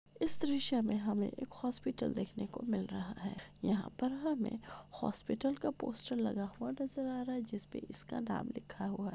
इस दर्सय मे हमे एक हॉस्पिटल का पोस्टर लगा हुआ नज़र आ रहा है जिसपे इसका नाम लिखा हुआ है।